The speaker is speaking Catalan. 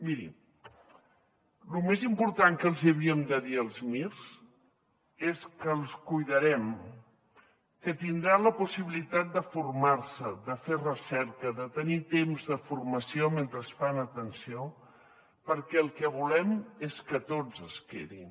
miri el més important que els hi havíem de dir als mirs és que els cuidarem que tindran la possibilitat de formar se de fer recerca de tenir temps de formació mentre fan atenció perquè el que volem és que tots es quedin